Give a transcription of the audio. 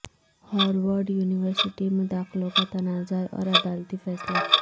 Harvard university میں داخلوں کا تنازع اور عدالتی فیصلہ